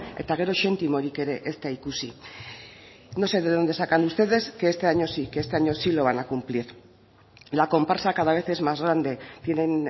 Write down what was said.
eta gero xentimorik ere ez da ikusi no sé de dónde sacan ustedes que este año sí que este año sí lo van a cumplir la comparsa cada vez es más grande tienen